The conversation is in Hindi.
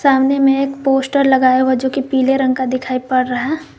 सामने मे एक पोस्टर लगाया हुआ जोकि पीले रंग का दिखाई पड़ रहा--